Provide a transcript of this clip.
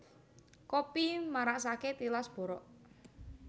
Kopi marasake tilas borok